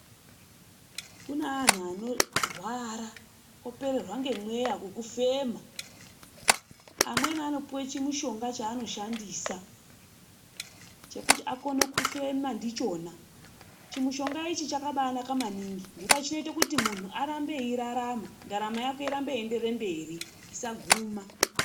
Kuna antu anorwara opererwa ngemweya wekufema. Amweni anopuwe chimutombo chaanoshandisa, chekuti akone kufema ndichona. Chimutomba ichi chakabanaka maningi. Nendaa chineite kuti muntu arambe eirarama ndaramo yake ineende mberi. Isaguma.